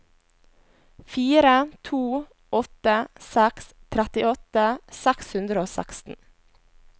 fire to åtte seks trettiåtte seks hundre og seksten